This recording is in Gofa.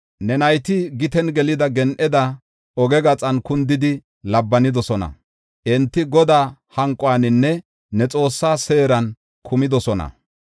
Ne nayti giten gelida gen7eda oge gaxan kundidi labbanidosona. Enti Godaa hanquwaninne ne Xoossaa seeran kumidosona.